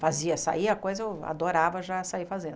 Fazia sair a coisa, eu adorava já sair fazendo.